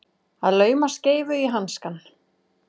Að lauma skeifu í hanskann